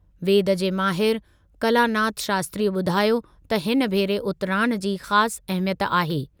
वेद जे माहिरु कलानाथ शास्त्री ॿुधायो त हिन भेरे उतराण जी ख़ासि अहमियत आहे।